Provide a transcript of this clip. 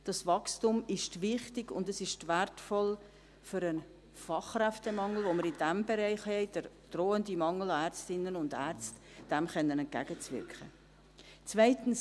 Dieses Wachstum ist wichtig und wertvoll, um dem Fachkräftemangel, den wir in diesem Bereich haben, dem drohenden Mangel an Ärztinnen und Ärzten, entgegenwirken zu können.